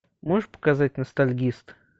можешь показать ностальгист